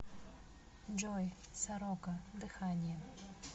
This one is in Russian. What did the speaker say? джой сорока дыхание